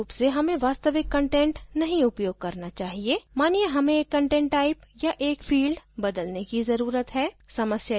आदर्श रूप से हमें वास्तविक कंटेंट नहीं उपयोग करना चाहिए मानिये हमें एक कंटेंट type या एक field बदलने की ज़रुरत है